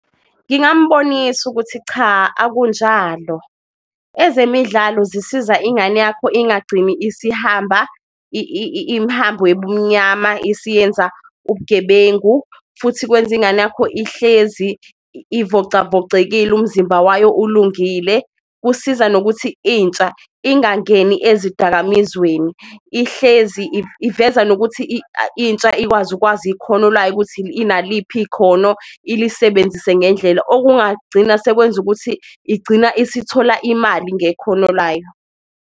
Ngingambonisa ukuthi cha akunjalo ezemidlalo zisiza ingane yakho ingagcini isihamba imhambo yebumnyama, isiyenza ubugebengu futhi kwenza ingane yakho ihlezi ivocavocekile umzimba wayo ulungile. Kusiza nokuthi intsha ingangeni ezidakamizweni ihlezi iveza nokuthi intsha ikwazi ukwazi ikhono layo ukuthi inaliphi ikhono ilisebenzise ngendlela, okungagcina sekwenza ukuthi igcina esithola imali ngekhono layo.